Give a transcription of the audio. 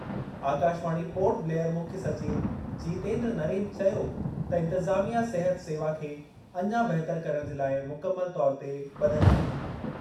आकाशवाणी पोर्ट ब्लेयर मुख्य सचिव जीतेन्द्र नरेन चयो त इंतिज़ामिया सिहत सेवा खे अञा बहितर करणु जे लाइ मुकमल तौरु ते ब॒धलु आहे।